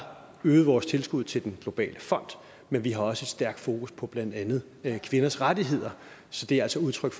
øget vores tilskud til den globale fond men vi har også et stærkt fokus på blandt andet kvinders rettigheder så det er altså udtryk